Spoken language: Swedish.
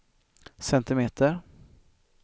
centimeter